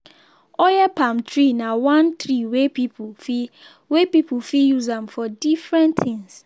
oil palm tree na one tree wey pipo fit wey pipo fit use am for different things.